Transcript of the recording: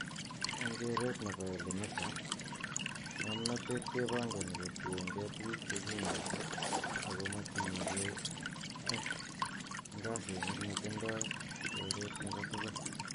Eng koret ne bo Elimika ,Nga mnatet kebangani koriengee tuku chekineti ako matinye kei ang ngasinik netindoi koret nebo tugul.